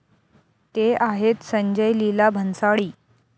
ते आहेत संजय लीला भन्साळी.